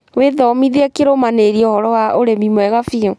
Wĩthomithie kĩrũmanĩrĩrio ũhoro wa ũrĩmi mwega biũ